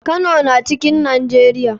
Kano na cikn nijeria.